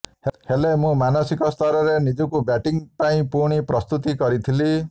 ହେଲେ ମୁଁ ମାନସିକ ସ୍ତରରେ ନିଜକୁ ବ୍ୟାଟିଂ ପାଇଁ ପୁଣି ପ୍ରସ୍ତୁତି କରିଥିଲି